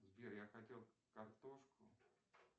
сбер я хотел картошку